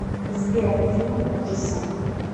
сбер фильм ужаса